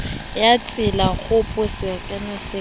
ya tselakgopo sekere ke sa